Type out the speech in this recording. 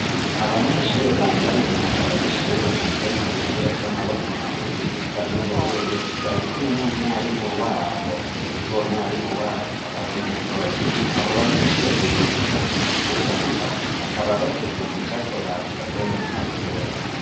Abanyeshure bambaye umwambaro w'ishuri ugizwe n'udupira tw'amaboko magufi dusa n'ubururu barikumwe n'umwarimu wabo, ndetse uwo mwarimu wabo akaba ari umugore abo banyeshure biga ibijanye no kubaka bakaba bafise igicapo bakoze mu mpapuro.